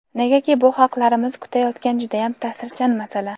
Negaki bu xalqlarimiz kutayotgan judayam ta’sirchan masala.